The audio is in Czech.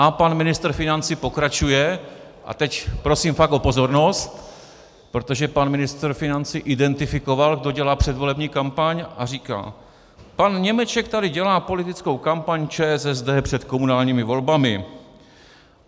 A pan ministr financí pokračuje - a teď prosím fakt o pozornost, protože pan ministr financí identifikoval, kdo dělá předvolební kampaň, a říká: "Pan Němeček tady dělá politickou kampaň ČSSD před komunálními volbami."